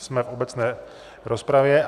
Jsme v obecné rozpravě.